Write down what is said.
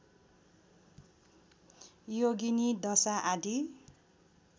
योगिनी दशा आदि